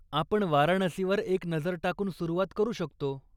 आपण वाराणसीवर एक नजर टाकून सुरुवात करू शकतो.